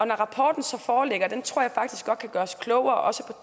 når rapporten foreligger og den tror jeg faktisk godt kan gøre os klogere også